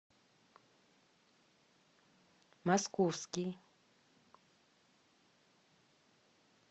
московский